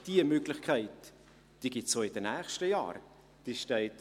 Diese Möglichkeit gibt es auch in den nächsten Jahren.